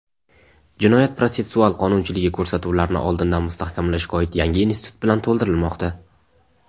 jinoyat-protsessual qonunchiligi ko‘rsatuvlarni oldindan mustahkamlashga oid yangi institut bilan to‘ldirilmoqda.